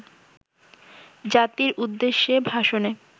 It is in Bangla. জাতির উদ্দেশ্যে ভাষণে